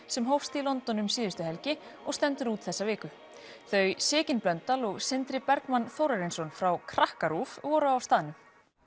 sem hófst í London um síðustu helgi og stendur út þessa viku þau Sigyn Blöndal og Sindri Bergmann Þórarinsson frá krakka RÚV voru á staðnum